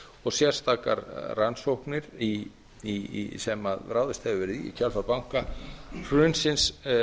og sérstakar rannsóknir sem ráðist hefur verið í kjölfar bankahrunsins